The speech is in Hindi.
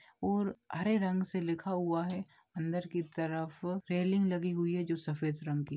और हरे रंग से लिखा हुआ है अंदर की तरफ रेलींग लगी हुई है जो सफेद रंग की--